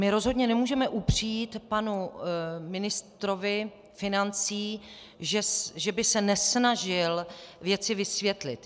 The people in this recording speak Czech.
My rozhodně nemůžeme upřít panu ministrovi financí, že by se nesnažil věci vysvětlit.